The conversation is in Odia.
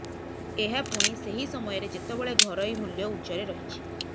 ଏହା ପୁଣି ସେହି ସମୟରେ ଯେତେବେଳେ ଘରୋଇ ମୂଲ୍ୟ ଉଚ୍ଚରେ ରହିଛି